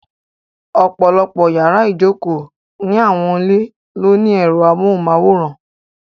Ọ̀pọ̀lọ́pọ̀ yàrá ìjokòó ni àwọn ilé ló ní ẹ̀rọ amóhùnmáwòrán.